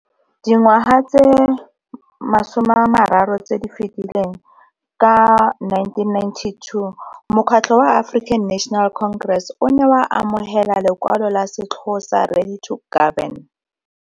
Dingwaga tse 30 tse di fetileng, ka 1992, Mokgatlho wa African National Congress o ne wa amogela lekwalo la setlhogo sa Ready to Govern.